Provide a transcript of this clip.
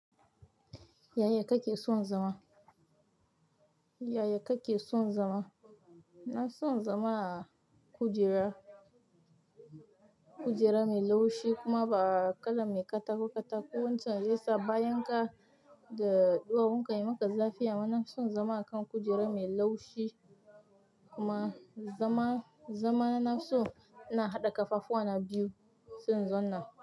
Yaya kake son zama? Yaya kake son zama? Na son zama a kujera, kujera mai laushi kuma ba kala mai katako-katako. Wancan zai sa bayan ka da duwawun ka yi maka zafi. Amma nafi son zama a kan kujera mai laushi kuma zama, zama na so ina haɗa ƙafafuwa na biyu, sai in zauna.